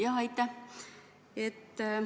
Jah, aitäh!